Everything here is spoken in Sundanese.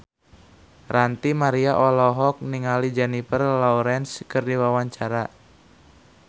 Ranty Maria olohok ningali Jennifer Lawrence keur diwawancara